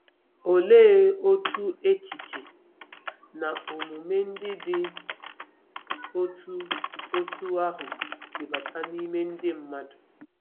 Olee otú echiche na omume ndị dị otú otú ahụ si bata n'ime ndị mmadụ?